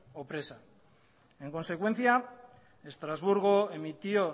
o presa en consecuencia estrasburgo emitió